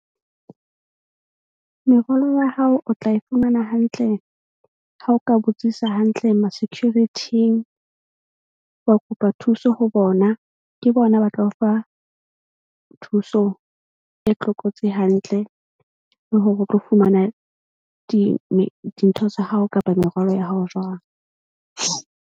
Merwalo ya hao o tla e fumana hantle ha o ka botsisa hantle ma-security-ng wa kopa thuso ho bona. Ke bona ba ba tla ho fa thuso e tlokotsi hantle le hore o tlo fumana di dintho tsa hao kapa merwalo ya hao jwang.